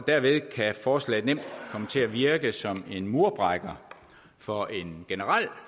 derved kan forslaget nemt komme til at virke som en murbrækker for en generel